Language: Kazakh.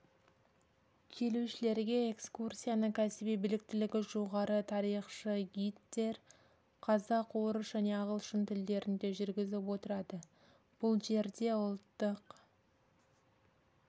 келушілерге экскурсияны кәсіби біліктілігі жоғары тарихшы-гидтер қазақ орыс және ағылшын тілдерінде жүргізіп отырады бұл жерде ұлттық